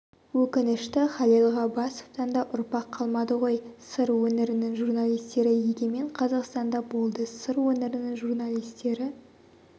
өкінішті халел ғаббасовтан да ұрпақ қалмады ғой сыр өңірінің журналистері егемен қазақстанда болды сыр өңірінің журналистері